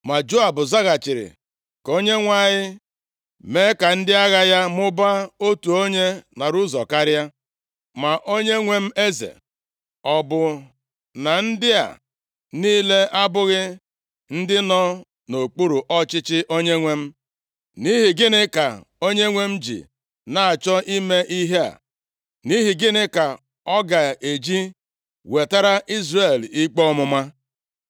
Ma Joab zaghachiri, “Ka Onyenwe anyị mee ka ndị agha ya mụbaa, otu onye narị ụzọ karịa. Ma onyenwe m eze, ọ bụ na ndị a niile abụghị ndị nọ nʼokpuru ọchịchị onyenwe m? Nʼihi gịnị ka onyenwe m ji na-achọ ime ihe a? Nʼihi gịnị ka ọ ga-eji wetara Izrel ikpe ọmụma?”